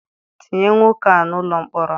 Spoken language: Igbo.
Tinye nwoke a n'ụlọ mkpọrọ!